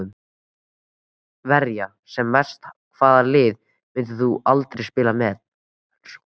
Verja sem mest Hvaða liði myndir þú aldrei spila með?